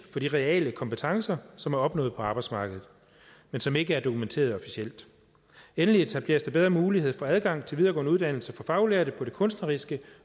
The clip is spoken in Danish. for de reelle kompetencer som er opnået på arbejdsmarkedet men som ikke er dokumenteret officielt endelig etableres der bedre mulighed for adgang til videregående uddannelse for faglærte på det kunstneriske